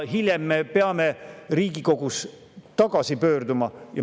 Hiljem me peame siis Riigikogus uuesti selle juurde tagasi pöörduma.